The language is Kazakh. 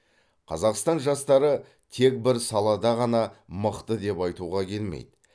қазақстан жастары тек бір салада ғана мықты деп айтуға келмейді